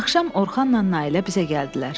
Axşam Orxanla Nailə bizə gəldilər.